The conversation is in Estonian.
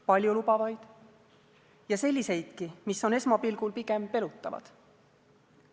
Paljulubavaid ja selliseidki, mis on esmapilgul pigem pelutavad.